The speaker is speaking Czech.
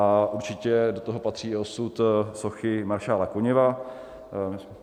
A určitě do toho patří i osud sochy maršála Koněva.